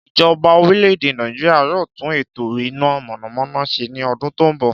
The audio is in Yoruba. Ìjoba orílè-èdè Nàìjíríà yóò tún ètò iná mònàmóná se ni odún tó n bò